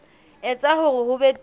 etsa hore ho be teng